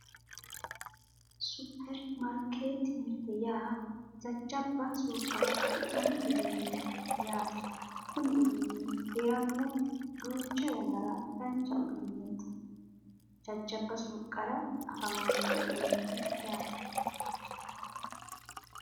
Super market mirte yaa jajabba suuqqara afi'nanni uduunne yaate Kuni uduunni heerano duucha yannara dancha uduuneetina jajabba suuqqara afamano uduuneeti yaate